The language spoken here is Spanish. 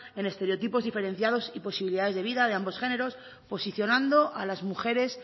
en estereotipos diferenciados y posibilidades de vida ambos géneros posicionando a las mujeres